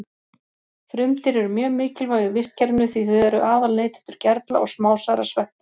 Frumdýr eru mjög mikilvæg í vistkerfinu því þau eru aðal neytendur gerla og smásærra sveppa.